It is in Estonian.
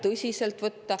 Aitäh!